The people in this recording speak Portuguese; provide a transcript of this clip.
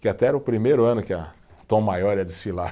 Que até era o primeiro ano que a Tom Maior ia desfilar.